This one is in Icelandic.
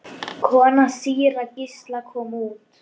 Kona síra Gísla kom út.